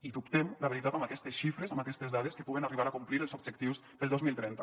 i dubtem la veritat amb aquestes xifres amb aquestes dades que puguen arribar a complir els objectius per al dos mil trenta